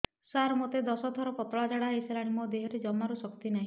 ସାର ମୋତେ ଦଶ ଥର ପତଳା ଝାଡା ହେଇଗଲାଣି ମୋ ଦେହରେ ଜମାରୁ ଶକ୍ତି ନାହିଁ